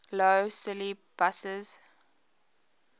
lough swilly buses